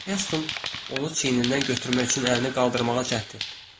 Helsing onu çiynindən götürmək üçün əlini qaldırmağa cəhd etdi.